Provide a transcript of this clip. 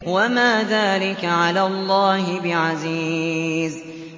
وَمَا ذَٰلِكَ عَلَى اللَّهِ بِعَزِيزٍ